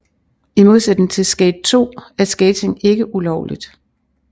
I modsætning til Skate 2 er skating ikke ulovligt